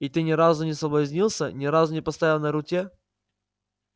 и ты не разу не соблазнился ни разу не поставил на руте